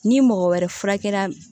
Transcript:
Ni mɔgɔ wɛrɛ furakɛra